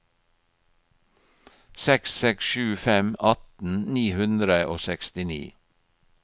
seks seks sju fem atten ni hundre og sekstini